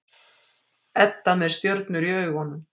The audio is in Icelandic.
Edda með stjörnur í augunum.